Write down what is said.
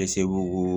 Bɛ segu